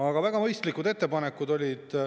Aga olid väga mõistlikud ettepanekud.